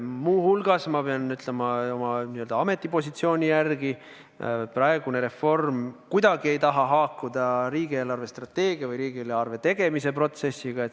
Muu hulgas pean oma n-ö ametipositsioonist lähtuvalt ütlema, et praegune reform ei taha haakuda riigi eelarvestrateegia või riigieelarve tegemise protsessiga.